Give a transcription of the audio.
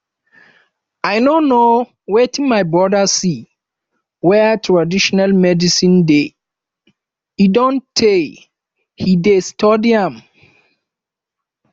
i no know wetin my brother see where traditional medicine dey e don tey he dey study am